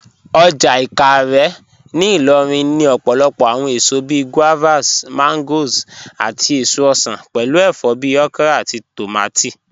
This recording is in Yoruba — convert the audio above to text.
Ọjà Ìkàárẹ̀ ní Ìlòrìn ní òpòlòpò awọn èsò bíí guavas, mangoes, àtí èsò osan, pẹ̀lú èfọ̀ bíí okra àtí tómátí.